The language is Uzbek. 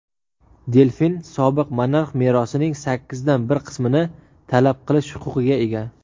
Delfin sobiq monarx merosining sakkizdan bir qismini talab qilish huquqiga ega.